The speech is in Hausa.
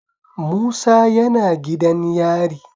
Musa yana gidan yari?